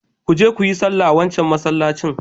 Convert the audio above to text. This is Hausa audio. Ku je ku yi sallah a wancan masallacin.